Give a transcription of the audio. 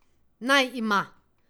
Naj ima!